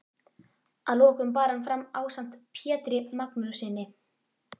Að lokum bar hann fram ásamt Pjetri Magnússyni